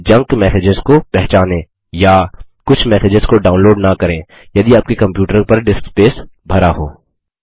junk messages को पहचानें या कुछ मैसेजेस को डाउनलोड न करें यदि आपके कम्प्यूटर पर डिस्क स्पेस भरा हो